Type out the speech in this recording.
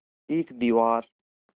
एक दीवार